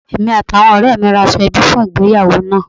Èmi àti àwọn òré mi ra aṣọ ẹbí fun ìgbéyàwó náà àn